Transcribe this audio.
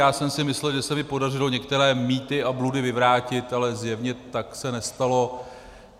Já jsem si myslel, že se mi podařilo některé mýty a bludy vyvrátit, ale zjevně se tak nestalo.